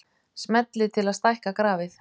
Smellið til að stækka grafið.